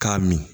K'a min